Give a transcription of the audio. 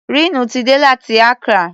Rínú ti dé láti Accra.